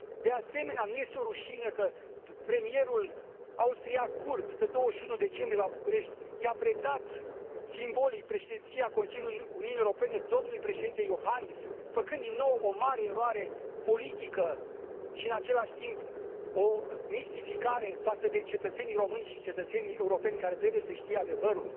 De asemenea, nu este o rușine că premierul austriac, Kurz, pe 21 decembrie, la București, i a predat simbolic Președinția Consiliului Uniunii Europene domnului președinte Iohannis, făcând din nou o mare eroare politică și, în același timp, o mistificare față de cetățenii români și cetățenii europeni, care trebuie să știe adevărul?